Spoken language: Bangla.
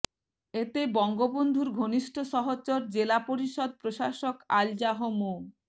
এতে বঙ্গবন্ধুর ঘনিষ্ঠ সহচর জেলা পরিষদ প্রশাসক আলহাজ মো